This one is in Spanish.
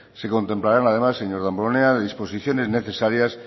se contemplarán además señor damborenea las disposiciones necesarias